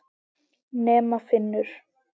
Nema Finnur.